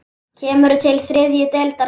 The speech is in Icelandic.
Kemur til þriðju deildar karla?